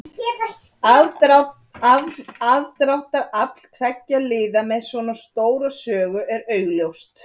Elsku Bjössi minn.